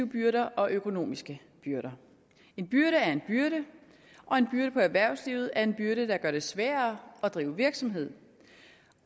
byrder og økonomiske byrder en byrde er en byrde og en byrde på erhvervslivet er en byrde der gør det sværere at drive virksomhed